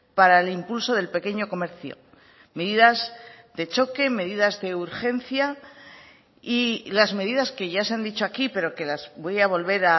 para el impulso del pequeño comercio medidas de choque medidas de urgencia y las medidas que ya se han dicho aquí pero que las voy a volver